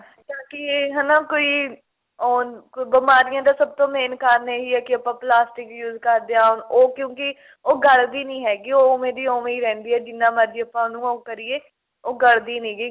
ਤਾਂਕਿ ਹਨਾ ਕੋਈ ਆਉਣ ਬਿਮਾਰੀਆਂ ਦਾ ਸਭ ਤੋਂ main ਕਾਰਣ ਇਹੀ ਏ ਕਿ ਆਪਾਂ ਪਲਾਸਟਿਕ use ਕਰਦੇ ਆਂ ਉਹ ਕਿਉਂਕੀ ਉਹ ਗਲਦੀ ਨੀ ਹੈਗੀ ਉਹ ਓਵੇਂ ਦੀ ਓਵੇਂ ਹੀ ਰਹਿੰਦੀ ਏ ਜਿੰਨਾ ਮਰਜੀ ਆਪਾਂ ਉਹਨਾ ਨੂੰ ਉਹ ਕਰੀਏ ਉਹ ਗਲਦੀ ਨੀਗੀ